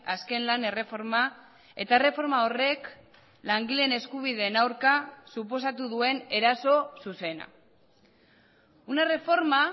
azken lan erreforma eta erreforma horrek langileen eskubideen aurka suposatu duen eraso zuzena una reforma